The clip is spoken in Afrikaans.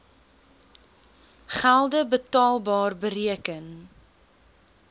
gelde betaalbar bereken